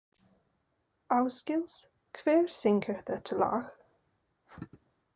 Ásgils, hver syngur þetta lag?